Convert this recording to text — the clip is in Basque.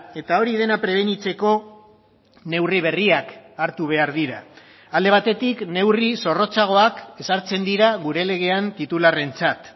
eta hori dena prebenitzeko neurri berriak hartu behar dira alde batetik neurri zorrotzagoak ezartzen dira gure legean titularrentzat